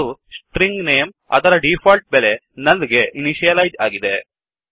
ಮತ್ತು string name ಅದರ default ಬೆಲೆ ನುಲ್ ಗೆ ಇನಿಷಿಯಲೈಜ್ ಆಗಿದೆ